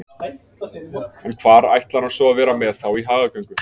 En hvar ætlar hann svo að vera með þá í hagagöngu?